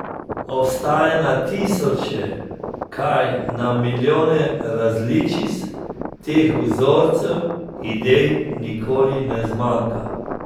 Obstaja na tisoče, kaj, na milijone različic teh vzorcev, idej nikoli ne zmanjka.